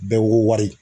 Bɛɛ wolo